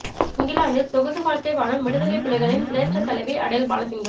இங்கிலாந்தில் சொகுசு வாழ்க்கை வாழும் விடுதலைப் புலிகளின் சிரேஸ்ட தலைவி அடேல் பாலசிங்கம்